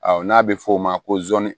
Awɔ n'a bɛ f'o ma ko zon